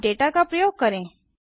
अब डेटा का प्रयोग करें